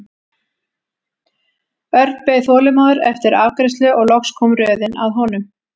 Örn beið þolinmóður eftir afgreiðslu og loks kom röðin að honum.